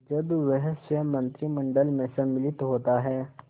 जब वह स्वयं मंत्रिमंडल में सम्मिलित होता है